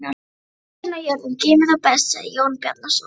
Öxin og jörðin geyma þá best, sagði Jón Bjarnason.